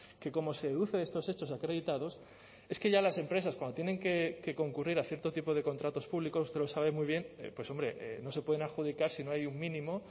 que como se deduce de estos hechos acreditados es que ya las empresas cuando tienen que concurrir a cierto tipo de contratos públicos usted lo sabe muy bien pues hombre no se pueden adjudicar si no hay un mínimo